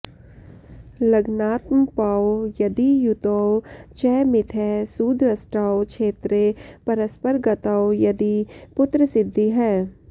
लग्नात्मपौ यदियुतौ च मिथः सुदृष्टौ क्षेत्रे परस्परगतौ यदि पुत्रसिद्धिः